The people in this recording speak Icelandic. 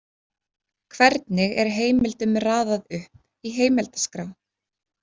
„Hvernig er heimildum raðað upp í heimildaskrá?“